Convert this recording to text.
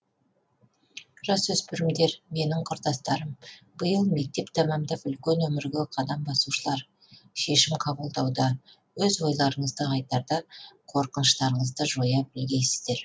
жасөспірімдер менің құрдастарым биыл мектеп тәмамдап үлкен өмірге қадам басушылар шешім қабылдауда өз ойларыңызды айтарда қорқыныштарыңызды жоя білгейсіздер